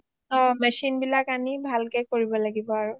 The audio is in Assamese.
অ machine বিলাক আনি ভালকে কৰিব লাগিব আৰু